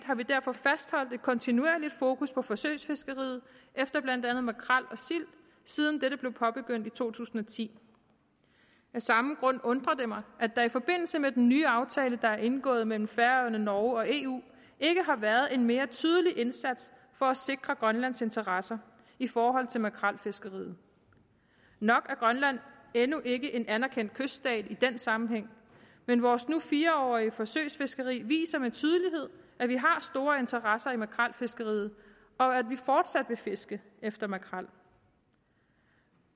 har vi derfor fastholdt et kontinuerligt fokus på forsøgsfiskeriet efter blandt andet makrel og sild siden dette blev påbegyndt i to tusind og ti af samme grund undrer det mig at der i forbindelse med den nye aftale der er indgået mellem færøerne norge og eu ikke har været en mere tydelig indsats for at sikre grønlands interesser i forhold til makrelfiskeriet nok er grønland endnu ikke en anerkendt kyststat i den sammenhæng men vores nu fire årige forsøgsfiskeri viser med tydelighed at vi har store interesser i makrelfiskeriet og at vi fortsat vil fiske efter makrel